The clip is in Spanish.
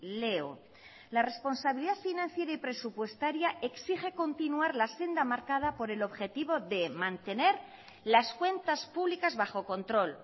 leo la responsabilidad financiera y presupuestaria exige continuar la senda marcada por el objetivo de mantener las cuentas públicas bajo control